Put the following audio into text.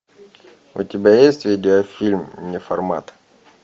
у тебя есть видеофильм неформат